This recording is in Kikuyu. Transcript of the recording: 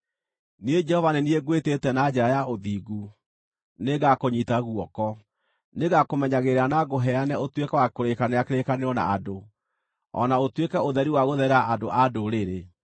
“Niĩ Jehova nĩ niĩ ngwĩtĩte na njĩra ya ũthingu; nĩngakũnyiita guoko. Nĩngakũmenyagĩrĩra na ngũheane ũtuĩke wa kũrĩkanĩra kĩrĩkanĩro na andũ, o na ũtuĩke ũtheri wa gũtherera andũ a Ndũrĩrĩ,